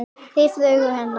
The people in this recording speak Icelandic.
Hreyft augu hennar.